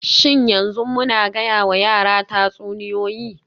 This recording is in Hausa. Shin yanzu muna gayawa yaran tatsuniyoyi??